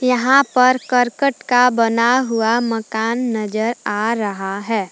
यहां पर करकट का बना हुआ मकान नजर आ रहा है।